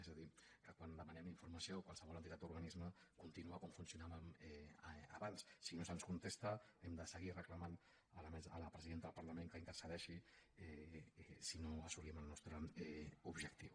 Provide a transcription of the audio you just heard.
és a dir que quan demanem informació a qualsevol entitat o organisme continua com funcionàvem abans si no se’ns contesta hem de seguir reclamant a la presidenta del parlament que intercedeixi si no assolim el nostre objectiu